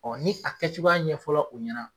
Ɔ ni a kɛ cogoya ɲɛ fɔla o ɲɛna.